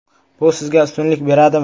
Bu sizga ustunlik beradimi?